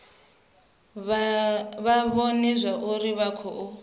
vha vhone zwauri vha khou